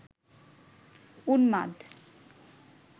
উন্মাদ